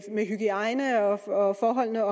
med hygiejne og forholdene